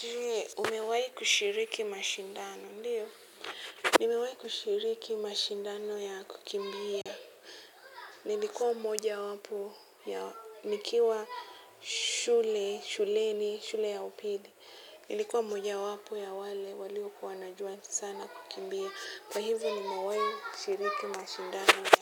Je, umewahi kushiriki mashindano, ndiyo? Nimewahi kushiriki mashindano ya kukimbia. Nilikuwa mmojawapo ya nikiwa shule, shuleni shule ya upili. Nilikuwa mmoja wapo ya wale waliokuwa wanajua sana kukimbia. Kwa hivyo nimawahi kushiriki mashindano ya